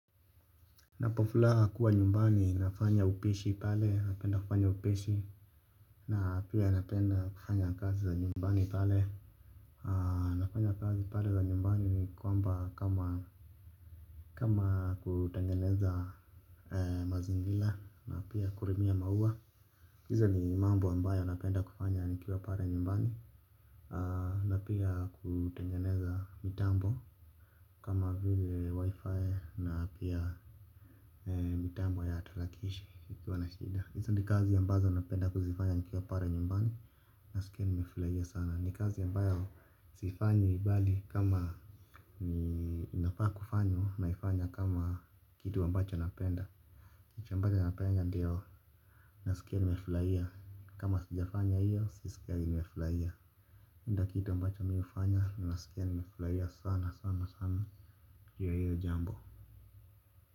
Napo fulaa kuwa nyumbani nafanya upishi pale napenda kufanya upishi. Na pia napenda kufanya kazi za nyumbani pale. Nafanya kazi pale za nyumbani kwamba kama kama kutengeneza mazingira na pia kulimia maua. Hizo ni mambo ambayo napenda kufanya nikiwa pale nyumbani. Na pia kutengeneza mitambo. Kama vile wifi na pia mitambo ya tarakilishi nikiwa na shida hizi ni kazi ambazo napenda kuzifanya nikiwa pale nyumbani. Nasikia nimefurahia sana. Ni kazi ambayo sifanyi bali kama ninafaa kufanya naifanya kama kitu ambacho napenda. Kitu ambacho napenda ndio. Nasikia nimefurahia. Kama sijafanya hiyo sisikii nimefurahia. Hinda kitu ambacho mimi hufanya. Nasikia nimefurahia sana sana sana juu ya hiyo jambo.